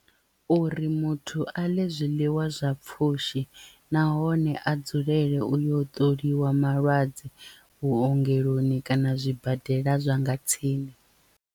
Uri muthu a ḽe zwiḽiwa zwa pfhushi nahone a dzulele uyo ṱoliwa malwadze vhuongeloni kana zwibadela zwa nga tsini.